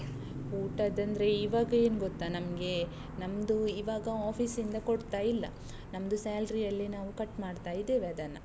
ಊಟದಂದ್ರೆ, ಈವಾಗ ಏನ್ ಗೊತ್ತಾ ನಮ್ಗೆ? ನಮ್ದು ಈವಾಗ office ಇಂದ ಕೊಡ್ತಾ ಇಲ್ಲ, ನಮ್ದು salary ಅಲ್ಲೆ ನಾವ್ cut ಮಾಡ್ತಾ ಇದ್ದೇವೆ ಅದನ್ನ.